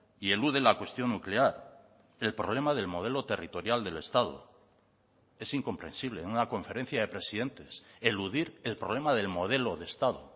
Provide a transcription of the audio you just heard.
y elude la cuestión nuclear el problema del modelo territorial del estado es incomprensible en una conferencia de presidentes eludir el problema del modelo de estado